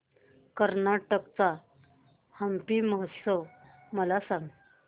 कर्नाटक चा हम्पी महोत्सव मला सांग